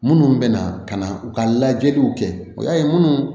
Minnu bɛ na ka na u ka lajɛliw kɛ o y'a ye minnu